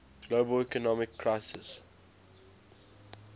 global economic crisis